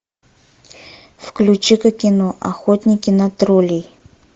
включи ка кино охотники на троллей